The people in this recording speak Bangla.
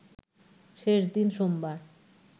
শেষ দিন সোমবার